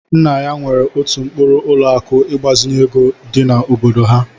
Nna ya nwere otu mkpuru ụlọ akụ ịgbazinye ego dị n'obodo ha.